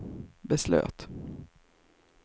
beslöt